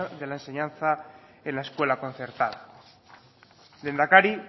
de la enseñanza en la escuela concertada lehendakari